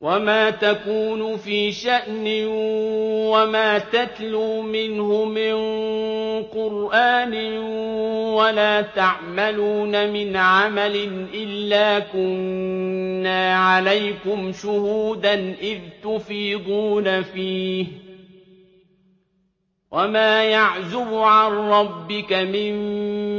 وَمَا تَكُونُ فِي شَأْنٍ وَمَا تَتْلُو مِنْهُ مِن قُرْآنٍ وَلَا تَعْمَلُونَ مِنْ عَمَلٍ إِلَّا كُنَّا عَلَيْكُمْ شُهُودًا إِذْ تُفِيضُونَ فِيهِ ۚ وَمَا يَعْزُبُ عَن رَّبِّكَ مِن